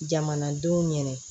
Jamanadenw yɛrɛ